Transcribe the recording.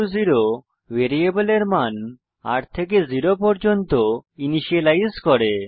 r0 ভ্যারিয়েবলের মান r থেকে জেরো পর্যন্ত ইনিসিয়েলাইজ করে